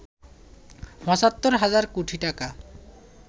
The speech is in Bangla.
৭৫ হাজার কোটি টাকা